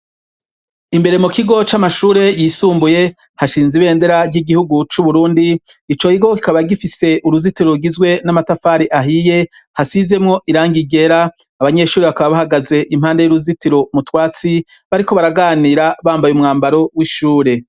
Imbere mu kigo c'amashure yisumbuye ,hashinze ibendera ry'igihugu c'uburundi, ico kigo kikaba gifise uruzitiro rugizwe n'amatafari ahiye, hasizemwo irangi ryera abanyeshuri bakaba bahagaze impande y'uruzitiro mu twatsi, bariko baraganira bambaye umwambaro w'ishure.